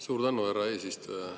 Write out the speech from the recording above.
Suur tänu, härra eesistuja!